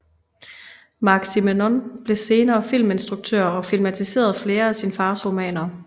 Marc Simenon blev senere filminstruktør og filmatiserede flere af sine fars romaner